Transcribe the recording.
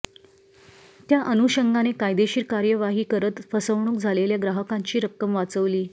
त्याअनुषंगाने कायदेशीर कार्यवाही करत फसवणूक झालेल्या ग्राहकांची रक्कम वाचवली